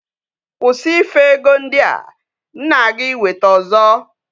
Kwusi ife ego ndi a! M na-aga iweta ozo.